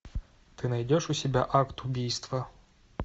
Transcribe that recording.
ты найдешь у себя акт убийства